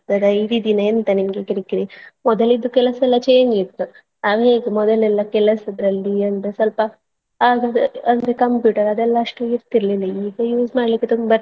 ಇಡೀದಿನ ಎಂತ ನಿಮ್ಗೆ ಕಿರಿಕಿರಿ ಮೊದಲಿದ್ದು ಕೆಲಸೆಲ್ಲಾ change ಇತ್ತು ಅದ್ಹೇಗೆ ಮೊದಲೆಲ್ಲಾ ಕೆಲಸದಲ್ಲಿ ಅಂದ್ರೆ ಸ್ವಲ್ಪ ಆಗ ಅಂದ್ರೆ computer ಅದೆಲ್ಲಾ ಅಷ್ಟು ಇರ್ತಿಲಿಲ್ಲಾ ಈಗ use ಮಾಡ್ಲಿಕ್ಕೆ ತುಂಬ ಇರ್ತದೆ.